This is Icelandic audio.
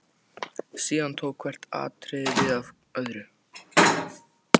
Síðan tók hvert atriðið við af öðru.